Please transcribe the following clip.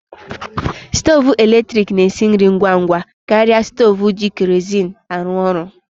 Stovu eletrik na-esi nri ngwa ngwa karịa stovu ji kerozin arụ orụ.